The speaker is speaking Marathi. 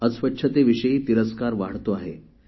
अस्वच्छतेविषयी तिरस्कार वाढतो आहे